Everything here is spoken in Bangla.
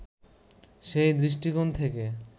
সেই দৃষ্টিকোণ থেকে